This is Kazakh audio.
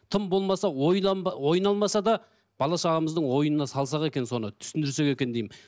тым болмаса ойналмаса да бала шағамыздың ойына салсақ екен соны түсіндірсек екен деймін